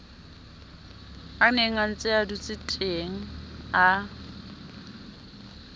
a nenga ntsea dutseteng a